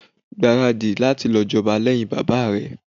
Gbaradi láti jọba lẹ́hìn bàbá rẹ̀.